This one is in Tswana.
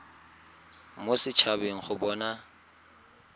mo set habeng go bona